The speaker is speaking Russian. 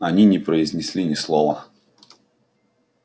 они не произнесли ни слова